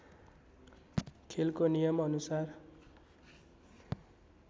खेलको नियम अनुसार